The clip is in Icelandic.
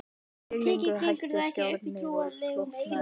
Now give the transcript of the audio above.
Titringurinn hætti og skjárinn slokknaði.